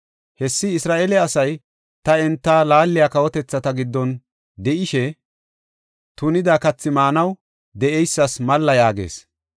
Hessi Isra7eele asay ta enta laaliya kawotethata giddon de7ishe, tunida kathi maanaw de7eysas malla” yaagis.